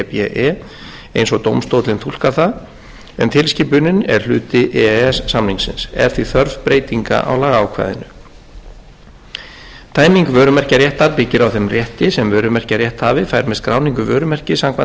og dómstóllinn túlkar það en tilskipunin er hluti e e s samningsins er því þörf breytinga á lagaákvæðinu tæming vörumerkjaréttar byggir á þeim rétti sem vörumerkjarétthafi fær með skráningu vörumerkis samkvæmt